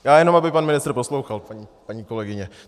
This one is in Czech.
Já jenom aby pan ministr poslouchal, paní kolegyně.